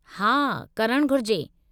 हा, करणु घुरिजे।